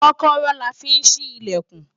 kọ́kọ́rọ́ la fi ń ṣí ìlẹ̀kùn